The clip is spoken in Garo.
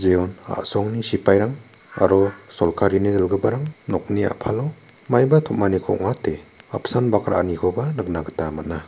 jeon a·songni sipairang aro solkarini dilgiparang nokni a·palo maiba tom·aniko ong·ate apsan bak ra·anikoba nikna gita man·a.